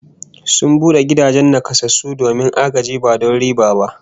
Sun bude gidan nakasassu domin agaji ba don riba ba